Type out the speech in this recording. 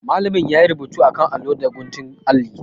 Malamin yayi rubutu akan allo da guntun alli.